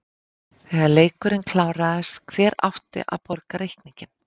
Þegar leikurinn kláraðist, hver átti að borga reikninginn?